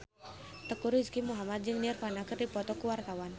Teuku Rizky Muhammad jeung Nirvana keur dipoto ku wartawan